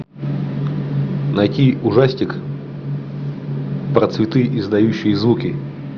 найти ужастик про цветы издающие звуки